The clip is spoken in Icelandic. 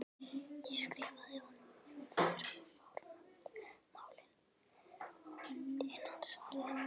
Ég skrifaði honum um fjármálin en hann svaraði engu.